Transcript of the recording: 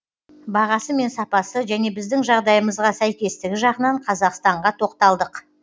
бағасы мен сапасы және біздің жағдайымызға сәйкестігі жағынан қазақстанға тоқталдық